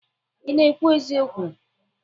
Ị na-ekwu eziokwu?